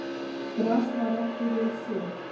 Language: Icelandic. Gras var ekki vel séð.